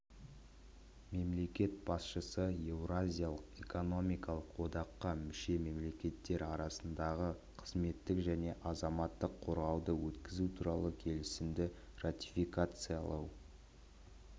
мемлекет басшысы еуразиялық экономикалық одаққа мүше мемлекеттер арасындағы қызметтік және азаматтық қаруды өткізу туралы келісімді ратификациялау